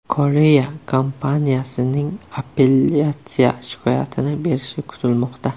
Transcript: Koreya kompaniyasining apellyatsiya shikoyatini berishi kutilmoqda.